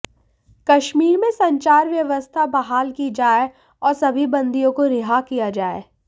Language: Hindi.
कश्मीर में संचार व्वस्था बहाल की जाए और सभी बंदियों को रिहा किया जाए